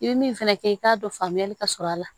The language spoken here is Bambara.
I bɛ min fana kɛ i k'a dɔn faamuyali ka sɔrɔ a la